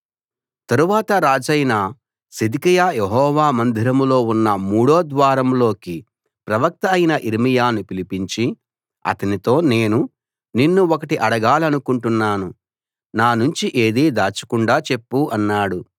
తరువాత రాజైన సిద్కియా యెహోవా మందిరంలో ఉన్న మూడో ద్వారంలోకి ప్రవక్త అయిన యిర్మీయాను పిలిపించి అతనితో నేను నిన్ను ఒకటి అడగాలనుకుంటున్నాను నా నుంచి ఏదీ దాచకుండా చెప్పు అన్నాడు